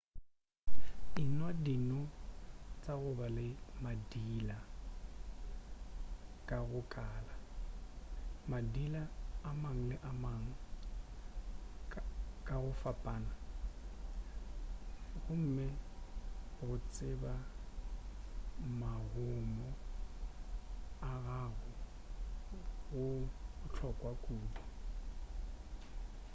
enwa dino tša go ba le madila ka go kala madila a ama mang le mang ka go fapana gomme go tseba magomo a gago go bohlokwa kudu